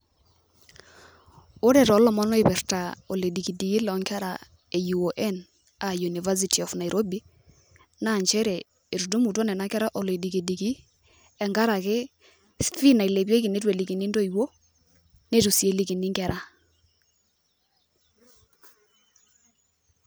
Ore tolomon oipirta oledikidiki lonkera e UON, ah University of Nairobi, naa njere etudumutua nena kera oledikidiki, enkaraki fee nailepieki neitu elikini intoiwuo, nitu si elikini inkera.